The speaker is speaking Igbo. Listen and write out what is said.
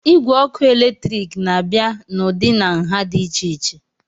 Igwe ọkụ eletrik na-abịa n'ụdị na nha dị iche iche